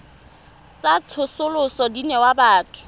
tsa tsosoloso di newa batho